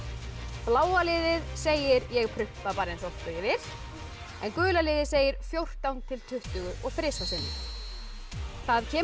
bláa liðið segir ég prumpa bara eins oft og ég vil en gula liðið segir fjórtán til tuttugu og þrem sinnum það kemur